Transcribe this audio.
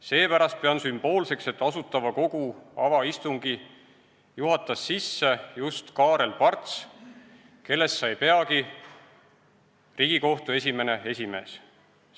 Seepärast pean sümboolseks, et Asutava Kogu avaistungi juhatas sisse just Kaarel Parts, kellest sai peagi Riigikohtu esimene esimees.